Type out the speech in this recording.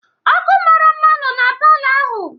Ọ́kụ́ mara mma nno na palọ ahụ.